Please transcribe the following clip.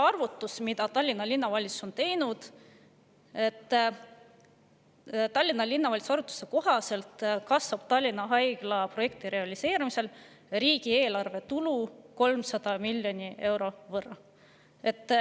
Tallinna Linnavalitsuse arvutuste kohaselt kasvab Tallinna Haigla projekti realiseerumisel riigieelarve tulu 300 miljoni euro võrra.